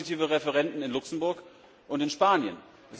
Wir hatten positive Referenden in Luxemburg und in Spanien.